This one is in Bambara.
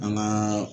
An gaa